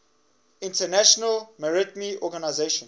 international maritime organization